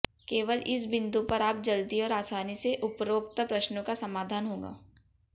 केवल इस बिंदु पर आप जल्दी और आसानी से उपरोक्त प्रश्नों का समाधान होगा